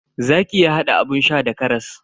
Zaki iya hada abun sha da karas.